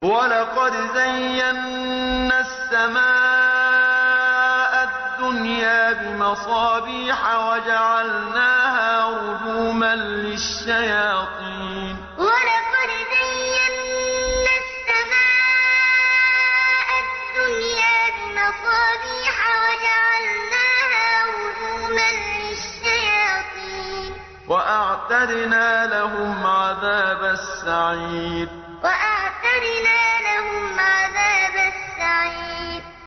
وَلَقَدْ زَيَّنَّا السَّمَاءَ الدُّنْيَا بِمَصَابِيحَ وَجَعَلْنَاهَا رُجُومًا لِّلشَّيَاطِينِ ۖ وَأَعْتَدْنَا لَهُمْ عَذَابَ السَّعِيرِ وَلَقَدْ زَيَّنَّا السَّمَاءَ الدُّنْيَا بِمَصَابِيحَ وَجَعَلْنَاهَا رُجُومًا لِّلشَّيَاطِينِ ۖ وَأَعْتَدْنَا لَهُمْ عَذَابَ السَّعِيرِ